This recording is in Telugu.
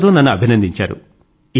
అందరూ నన్ను అభినందించారు